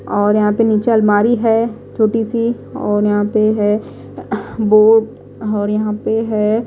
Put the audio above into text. और यहां पे नीचे अलमारी है छोटी सी और यहां पे है अह और यहां पे है।